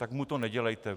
Tak mu to nedělejte.